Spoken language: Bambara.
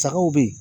Sagaw bɛ yen